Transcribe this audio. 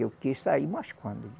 Eu quis sair mas quando